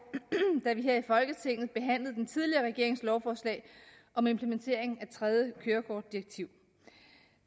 da vi her i folketinget behandlede den tidligere regerings lovforslag om implementering af eus tredje kørekortdirektiv